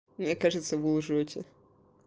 мне кажется вы лжёте